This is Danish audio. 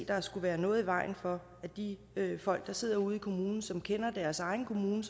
der skulle være noget i vejen for at de folk der sidder ude i kommunen og som kender deres egen kommune